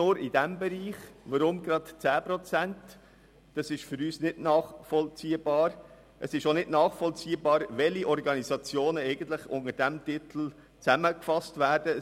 Weshalb nur in diesem Bereich, und weshalb gerade 10 Prozent? – Dies ist für uns nicht nachvollziehbar, ebenso wenig, welche Organisationen eigentlich unter diesem Titel zusammengefasst werden.